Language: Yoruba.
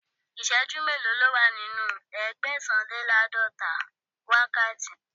Ìsẹ́jú mélòó ni ó wà nínú Ẹgbẹ̀sàn-lé-láàdọ́ta wákàtí?